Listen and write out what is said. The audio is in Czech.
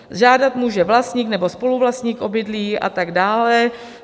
Žádat může vlastník nebo spoluvlastník obydlí a tak dále.